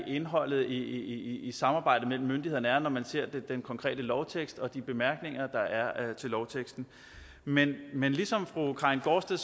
indholdet i samarbejdet mellem myndighederne er altså når man ser den konkrete lovtekst og de bemærkninger der er til lovteksten men men ligesom fru karin gaardsted